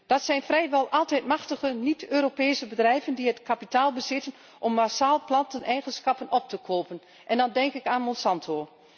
Het zijn vrijwel altijd machtige niet Europese bedrijven die het kapitaal bezitten om massaal planteneigenschappen op te kopen en dan denk ik aan Monsanto.